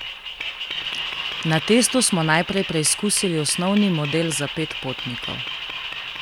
Na testu smo najprej preizkusili osnovni model za pet potnikov.